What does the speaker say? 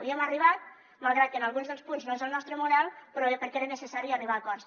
hi hem arribat malgrat que en alguns dels punts no és el nostre model però bé perquè era necessari arribar a acords